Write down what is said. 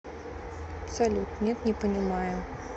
салют нет не понимаю